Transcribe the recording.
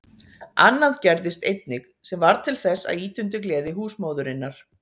Annað gerðist einnig, sem varð til þess að ýta undir gleði húsmóðurinnar.